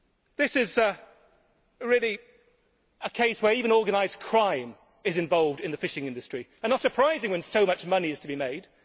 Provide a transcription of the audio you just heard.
This is a case where even organised crime is involved in the fishing industry, and it is not surprising when so much money is to be made.